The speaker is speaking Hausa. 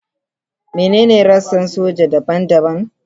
Menene rassan soja daban-daban?